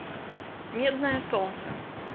медное солнце